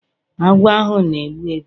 Agwọ ahu na-egbu egbu